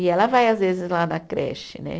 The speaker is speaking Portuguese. E ela vai às vezes lá na creche, né?